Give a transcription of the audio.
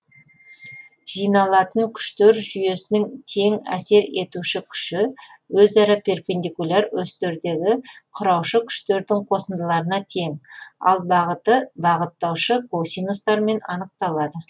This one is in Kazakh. жиналатын күштер жүйесінің тең әсер етуші күші өзара перпендикуляр осьтердегі кұраушы күштердің қосындыларына тең ал бағыты бағыттаушы косинустармен анықталады